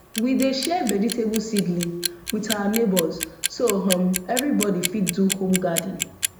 we dey share vegetable seedling with our neighbours so um everybody fit do home garden